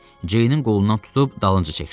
Ceynin qolundan tutub dalınca çəkdi.